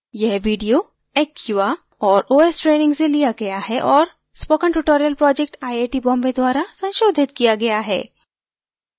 यह video acquia और os training से लिया गया है और spoken tutorial project IIT Bombay द्वारा संशोधित किया गया है